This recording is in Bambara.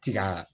Ti ka